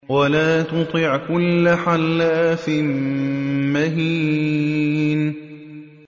وَلَا تُطِعْ كُلَّ حَلَّافٍ مَّهِينٍ